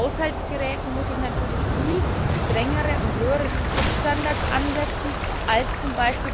Bei Haushaltsgeräten muss ich natürlich viel strengere und höhere Schutzstandards ansetzen als